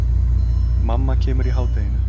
Mamma kemur í hádeginu.